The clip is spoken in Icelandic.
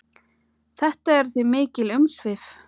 Þetta eru því mikil umsvif.